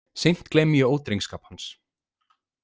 Seint gleymi ég ódrengskap hans.